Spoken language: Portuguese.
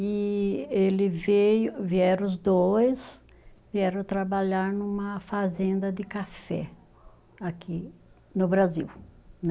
E ele veio, vieram os dois, vieram trabalhar numa fazenda de café aqui no Brasil, né?